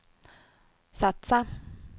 satsa